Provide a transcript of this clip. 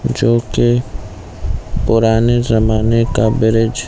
जो की पुराने जमाने का ब्रिज --